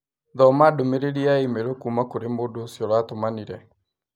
Thoma ndũmĩrĩri ya i-mīrū kuuma kũrĩ mũndũ ũcio ũratũmanire